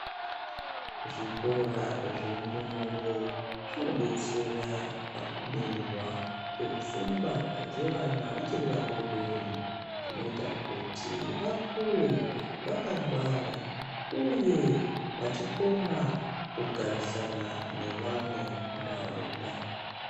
Zvikora zvendumure zvinodetsera pakubeurwa kwepfungwa dzevana vachiri vadori-dori, zvinoita kuti vakure vakangwara, uye vachikona kugarisana nevamwe muntaraunda.